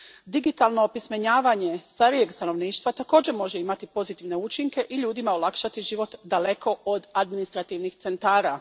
Digitalno opismenjavanje starijeg stanovništva također može imati pozitivne učinke i ljudima olakšati život daleko od administrativnih centara.